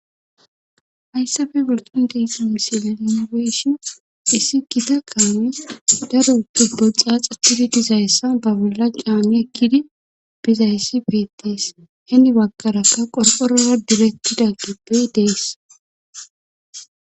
Hayssafe bolqon deiqi misila inibeyshon issi kita kaami daro tubbo xaaxatidi dizayessa ba bolla qaami ekkidi bizayessi beettees heni wakarakka qorporora direttida gibbey dees